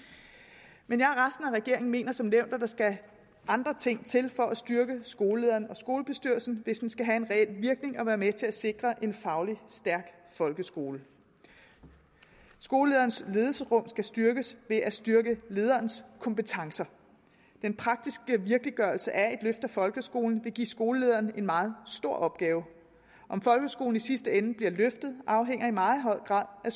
men af regeringen mener som nævnt at der skal andre ting til for at styrke skolelederen og skolebestyrelsen hvis det skal have en reel virkning og være med til at sikre en fagligt stærk folkeskole skolelederens ledelsesrum skal styrkes ved at styrke lederens kompetencer den praktiske virkeliggørelse af et af folkeskolen vil give skolelederen en meget stor opgave om folkeskolen i sidste ende bliver løftet afhænger i meget høj grad af